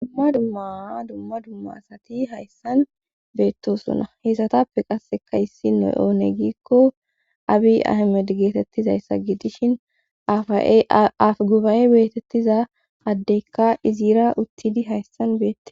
Dumma dummaa dumma dumma asati hayssan beettosona. heesatappe qasseka issi noy oone gikko abi ahamed geetettizayssa gidishin aff guba'e beetettiza addeykka iziira uttidi hayssan beettes